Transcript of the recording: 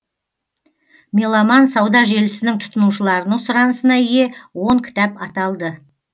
меломан сауда желісінің тұтынушыларының сұранысына ие он кітап аталды